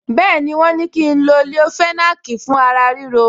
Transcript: Bẹ́ẹ̀ni, wọ́n ní kí n lo leofenac fún ara ríro